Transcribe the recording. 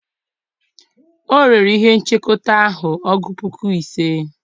o rere ihe-nchekọta ahu ọgu puku ise.